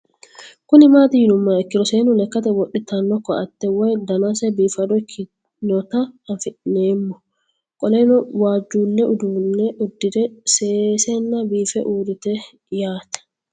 Kuni mati yinumoha ikiro seenu lekate woxitano koate woyi danasi bifado ikinota anfemo qoleno wajule udune udire sesena biife urite yaate